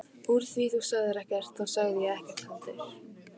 Úr því þú sagðir ekkert þá sagði ég ekkert heldur.